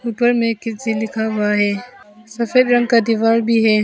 ऊपर में किडजी लिखा हुआ है सफेद रंग का दीवार भी है।